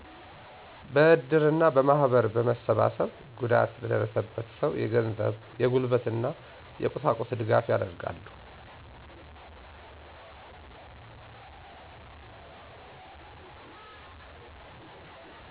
በእድር እና በማህበር በመሰባሰብ ጉዳት ለደረሰበት ሰው የገንዘብ፣ የጉልበት እና የቁሳቁስ ድጋፍ ያደርጋሉ።